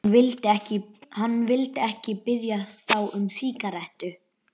Hann vildi ekki biðja þá um sígarettu.